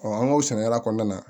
an ka o sɛnɛkɛla kɔnɔna na